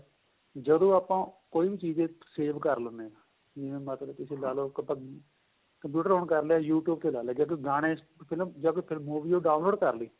ਜਦੋਂ ਆਪਾਂ ਕੋਈ ਵੀ ਚੀਜ save ਕਰ ਲਿੰਨੇ ਹਾਂ ਜਿਵੇਂ ਮਤਲਬ ਤੁਸੀਂ ਲਾਲੋ ਆਪਾਂ computer on ਕਰ ਲਿਆ you tube ਤੇ ਲਾ ਲਿਆ ਜ਼ੇ ਕੋ ਗਾਣੇ ਜਦ movie ਹੋ download ਕਰਲੀ